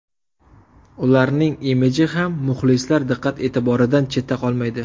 Ularning imiji ham muxlislar diqqat-e’tiboridan chetda qolmaydi.